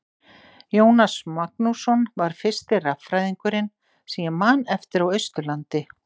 Jónas Magnússon var fyrsti raffræðingurinn sem ég man eftir á Austurlandi.